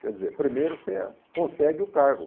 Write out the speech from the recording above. Quer dizer, primeiro você consegue o cargo.